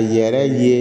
A yɛrɛ ye